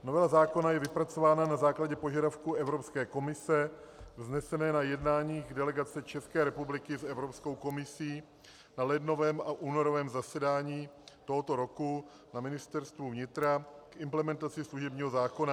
Novela zákona je vypracována na základě požadavku Evropské komise vzneseného na jednáních delegace České republiky s Evropskou komisí na lednovém a únorovém zasedání tohoto roku na Ministerstvu vnitra k implementaci služebního zákona.